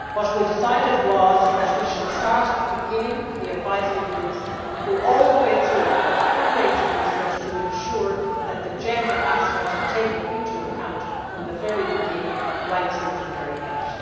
We decided that we should start at the beginning with the advisory groups and go all the way through the full range of research to ensure that the gender aspects are taken into account from the very beginning right through to the very end.